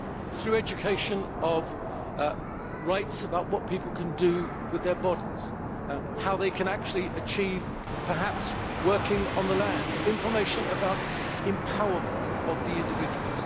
Through education on rights, about what people can do with their bodies, what they can achieve working on the land, information about empowerment of the individual.